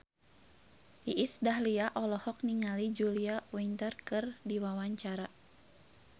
Iis Dahlia olohok ningali Julia Winter keur diwawancara